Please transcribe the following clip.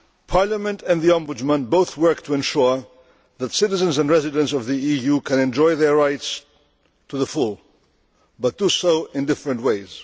Parliament and the Ombudsman both work to ensure that citizens and residents of the EU can enjoy their rights to the full, but do so in different ways.